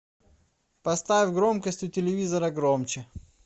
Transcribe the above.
поставь громкость у телевизора громче